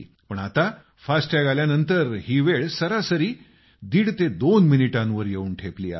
पण आता फास्टॅग आल्यानंतर ही वेळ सरासरी दीड ते दोन मिनिटांवर येऊन ठेपली आहे